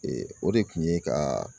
o de kun ye ka